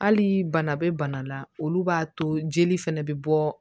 Hali bana bɛ bana la olu b'a to jeli fɛnɛ bɛ bɔ